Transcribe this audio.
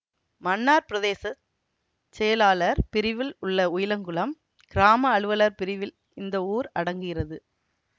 மன்னார் பிரதேச செயலாளர் பிரிவில் உள்ள உயிலங்குளம் கிராம அலுவலர் பிரிவில் இந்த ஊர் அடங்குகிறது